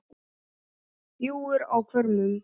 bjúgur á hvörmum